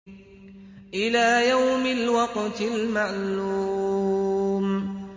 إِلَىٰ يَوْمِ الْوَقْتِ الْمَعْلُومِ